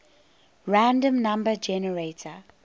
random number generator